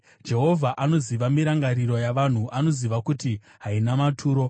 Jehovha anoziva mirangariro yavanhu; anoziva kuti haina maturo.